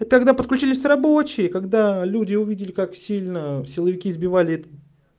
а тогда подключились рабочие когда люди увидели как сильно силовики избивали